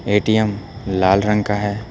ATM लाल रंग का है।